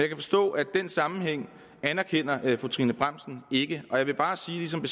kan forstå at den sammenhæng anerkender fru trine bramsen ikke og jeg vil bare sige ligesom